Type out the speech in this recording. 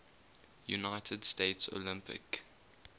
united states olympic